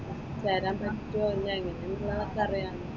ചേരാൻ പറ്റുമോ അല്ല എങ്ങനെ ആണെന്നുള്ളതൊക്കെ അറിയാമല്ലോ.